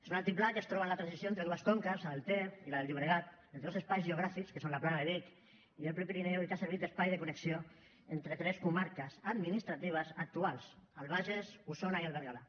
és un altiplà que es troba en la transició entre dues conques la del ter i la del llobregat entre dos espais geogràfics que són la plana de vic i el prepirineu i que ha servit d’espai de connexió entre tres comarques administratives actuals el bages osona i el berguedà